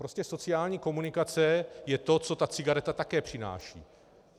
Prostě sociální komunikace je to, co ta cigareta také přináší.